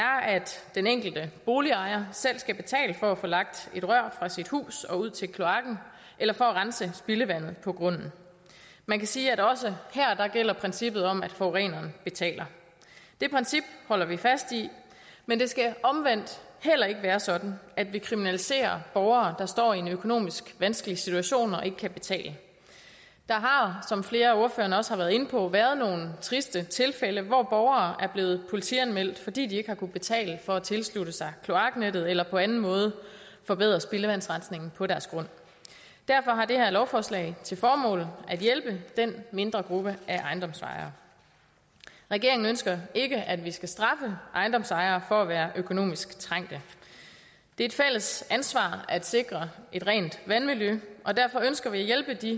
den enkelte boligejer selv skal betale for at få lagt et rør fra sit hus og ud til kloakken eller for at rense spildevandet på grunden man kan sige at også her gælder princippet om at forureneren betaler det princip holder vi fast i men det skal omvendt heller ikke være sådan at vi kriminaliserer borgere der står i en økonomisk vanskelig situation og ikke kan betale der har som flere af ordførerne også har været inde på været nogle triste tilfælde hvor borgere er blevet politianmeldt fordi de ikke har kunnet betale for at tilslutte sig kloaknettet eller på anden måde forbedre spildevandsrensningen på deres grund derfor har det her lovforslag til formål at hjælpe den mindre gruppe af ejendomsejere regeringen ønsker ikke at vi skal straffe ejendomsejere for at være økonomisk trængt det er et fælles ansvar at sikre et rent vandmiljø og derfor ønsker vi at hjælpe de